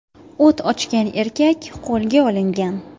O‘t ochgan erkak qo‘lga olingan.